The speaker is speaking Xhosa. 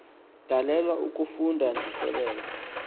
dalelwanga ukufunda ndisebenza